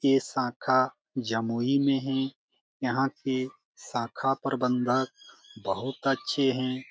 ये शाखा जमुई मे है यहाँ के शाखा प्रबंधक बहुत अच्छे है।